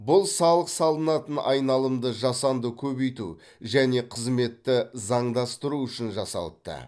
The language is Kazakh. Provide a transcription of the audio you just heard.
бұл салық салынатын айналымды жасанды көбейту және қызметті заңдастыру үшін жасалыпты